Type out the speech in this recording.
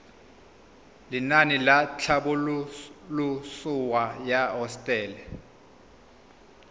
lenaane la tlhabololosewa ya hosetele